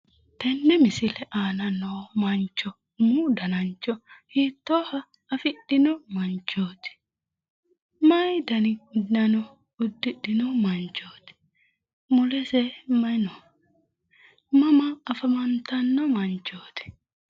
Tenne misile aana noo mancho umu danancho hiittoha afidhino manchooti? Mayi dani uddano uddidhino manchooti? Mulese mayi no? Mama afantanno manchooti?